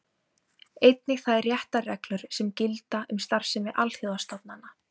Einnig þær réttarreglur sem gilda um starfsemi alþjóðastofnana.